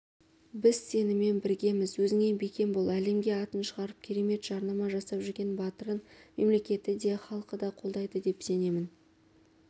біз сенімен біргеміз өзіңе бекем бол әлемге атын шығарып керемет жарнама жасап жүрген батырын мемлекеті де іалқы да қолдайды деп сенемін